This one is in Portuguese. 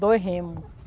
Dois remos.